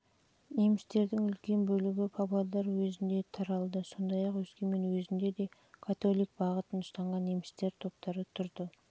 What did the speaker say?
жылдары немістердің үлкен бөлігі павлодар уезінде таралды сондай-ақ өскемен уезінде де католик бағытын ұстанған неміс топтары